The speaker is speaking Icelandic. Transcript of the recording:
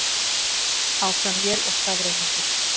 Áfram él og skafrenningur